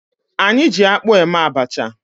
Anyị ji akpụ eme abacha